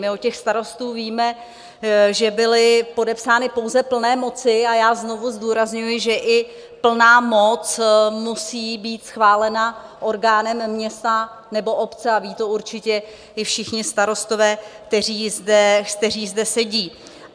My od těch starostů víme, že byly podepsány pouze plné moci, a já znovu zdůrazňuji, že i plná moc musí být schválena orgánem města nebo obce a vědí to určitě i všichni starostové, kteří zde sedí.